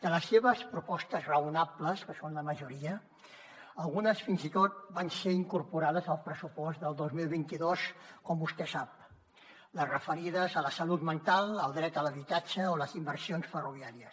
de les seves propostes raonables que són la majoria algunes fins i tot van ser incorporades al pressupost del dos mil vint dos com vostè sap les referides a la salut mental al dret a l’habitatge o a les inversions ferroviàries